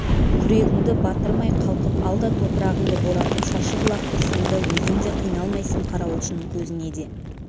күрегіңді батырмай қалқып ал да топырағыңды боратып шашып лақтыр сонда өзің де қиналмайсың қарауылшының көзіне де